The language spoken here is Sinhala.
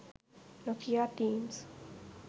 nokia themes